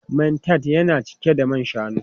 Man tart yana cike da man shanu.